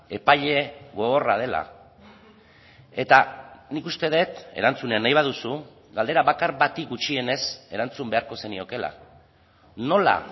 epaile gogorra dela eta nik uste dut erantzuna nahi baduzu galdera bakar bati gutxienez erantzun beharko zeniokeela nola